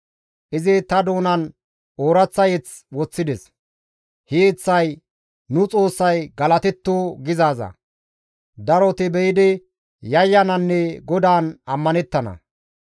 Izi ta doonan ooraththa mazamure woththides; he yeththay, «Nu Xoossay galatetto» gizaaza. Daroti be7idi yayyananne GODAAN ammanettana.